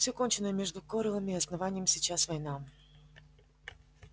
всё кончено и между корелом и основанием сейчас война